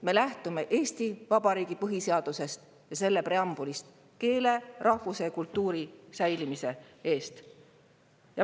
Me lähtume Eesti Vabariigi põhiseadusest ja selle preambulist: keele, rahvuse ja kultuuri säilimisest.